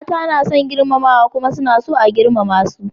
Mata suna son girmamawa kuma suna so a girmama su.